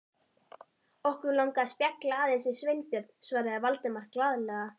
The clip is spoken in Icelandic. Okkur langaði að spjalla aðeins við Sveinbjörn- svaraði Valdimar glaðlega.